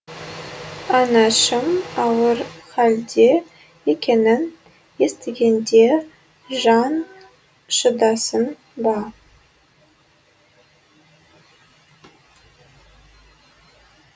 анашым ауыр халде екенін естігенде жан шыдасын ба